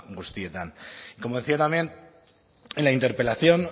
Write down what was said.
guztietan como decía también en la interpelación